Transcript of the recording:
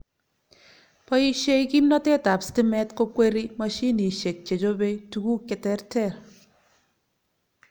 Boishei kimnatet ab stimet kokweri mashinishek che chobe tukuk che terter